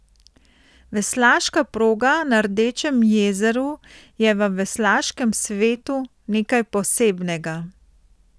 Veslaška proga na Rdečem jezeru je v veslaškem svetu nekaj posebnega.